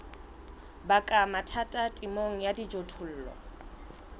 baka mathata temong ya dijothollo